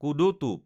কোদো টোপ